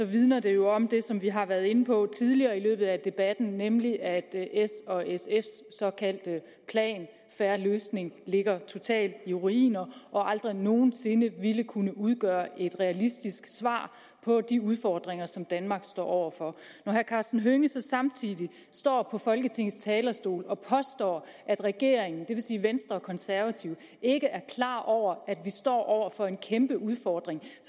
vidner det jo om det som vi har været inde på tidligere i debatten nemlig at s og sfs såkaldte plan en fair løsning ligger totalt i ruiner og aldrig nogen sinde ville kunne udgøre et realistisk svar på de udfordringer som danmark står over for når herre karsten hønge så samtidig står på folketingets talerstol og påstår at regeringen det vil sige venstre og konservative ikke er klar over at vi står over for en kæmpe udfordring